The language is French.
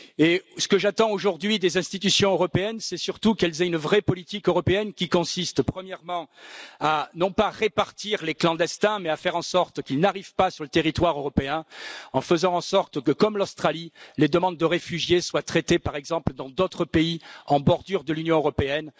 Et ce que j'attends aujourd'hui des institutions européennes, c'est surtout qu'elles aient une vraie politique européenne qui consiste premièrement à, non pas répartir les clandestins, mais à faire en sorte qu'ils n'arrivent pas sur le territoire européen, en faisant en sorte que, comme l'Australie, les demandes de réfugiés soient traitées par exemple dans d'autres pays en bordure de l'Union européenne.